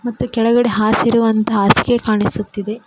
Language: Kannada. ಮತ್ತು ಕೆಳಗಡೆ ಹಾಸಿರುವಂತಹ ಹಾಸಿಗೆ ಕಾಣಿಸುತ್ತದೆ.